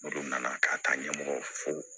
Olu nana ka taa ɲɛmɔgɔ fo